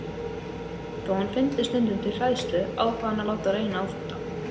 Þó hann fyndi stundum til hræðslu ákvað hann að láta reyna á þetta.